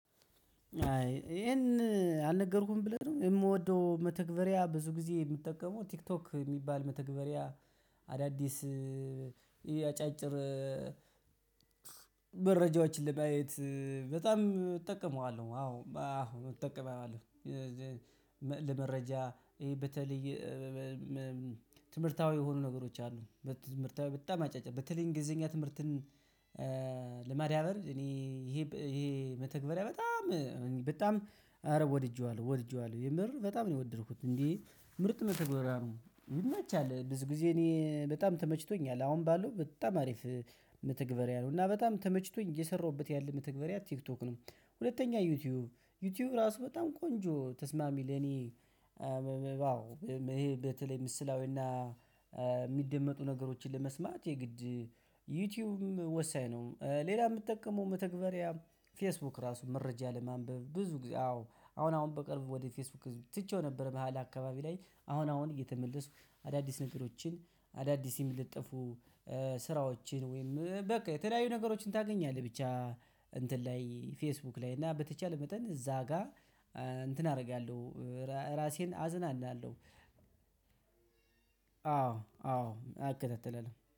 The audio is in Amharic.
አይ ይሄን አልነገርኩህም ብለህ ነው? የምወደው መተግበሪያ ብዙ ጊዜ የምጠቀመው ቲክቶክ የሚባል መተግበሪያ አዳዲስ አጫጭር መረጃዎችን ለማየት በጣም እጠቀመዋለሁ። አዎ አሁን እጠቀመዋለሁ። ለመረጃ ይሄ በተለይ ትምህርታዊ የሆኑ ነገሮች አሉ። በተለይ በጣም አጫጭር፤ በተለይ እንግሊዘኛ ትምህርትን ለማዳበር እኔ ይሄ ይሄ መተግበሪያ በጣም በጣም አረ ወድጄዋለሁ። ወድጄዋለሁ። የምር በጣም ነው የወደድኩት። እንዴ ምርጥ መተግበሪያ ነው። ይመቻል። ብዙ ጊዜ እኔ በጣም ተመችቶኛል። አሁን ባለው በጣም አሪፍ መተግበሪያ ነው። እና በጣም ተመችቶኝ እየሰራሁበት ያለ መተግበሪያ ቲክቶክ ነው። ሁለተኛ ዩቲዩብ። ዩቲዩብ ራሱ በጣም ቆንጆ ተስማሚ ለኔ ይሄ በተለይ ምስላዊና የሚደመጡ ነገሮችን ለመስማት የግድ ዩቲዩብም ወሳኝ ነው። ሌላ የምጠቀመው መተግበሪያ ፌስቡክ ራሱ መረጃ ለማንበብ ብዙ ጊዜ አዎ አሁን አሁን በቅርቡ ወደ ፌስቡክ ትቼው ነበር በሃላ አካባቢ ላይ። አሁን አሁን እየተመለስኩ አዳዲስ ነገሮችን አዳዲስ የምትጠፉ ስራዎችን ወይም በቃ የተለያዩ ነገሮችን ታገኛለህ። ብቻ እንትን ላይ ፌስቡክ ላይ። እና በተቻለ መጠን እዛ ጋር እንትን አደርጋለሁ። ራሴን አዝናናለሁ። አዎ፣ አዎ እከታተላለሁ።